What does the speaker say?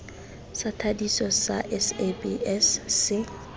sa thadiso sa sabs se